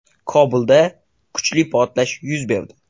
Kobulda kuchli portlash yuz berdi.